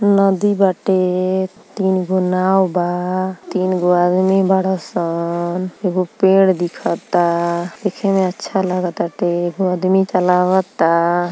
नदी बाटे। तीन गो नाव बा। तीन गो आदमी बाड़ सन। एगो पेड़ दिखता देखे में अच्छा लागताटे। एगो आदमी चलावता।